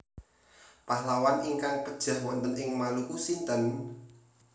Pahlawan ingkang pejah wonten ing Maluku sinten?